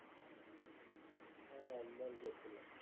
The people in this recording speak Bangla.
হ্যাঁ একবার গেছিলাম